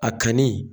A kanni